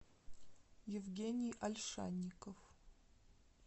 евгений ольшанников